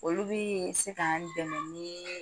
Olu bi se k'an dɛmɛ ni